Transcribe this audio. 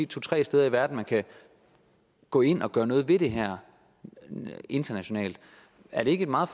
tre steder i verden man kan gå ind og gøre noget ved det her internationalt er det ikke et meget